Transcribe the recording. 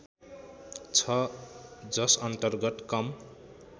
छ जसअन्तर्गत कम